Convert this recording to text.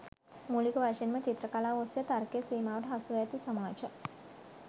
මූලික වශයෙන්ම චිත්‍ර කලාව ඔස්සේ තර්කයේ සීමාවට හසුව ඇති සමාජ